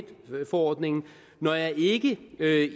forordningen når jeg ikke